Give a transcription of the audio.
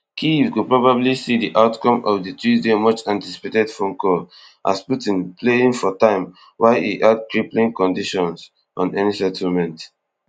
kyiv go probably see di outcome of di tuesday much anticipated phone call as putin playing for time while e add crippling conditions on any settlement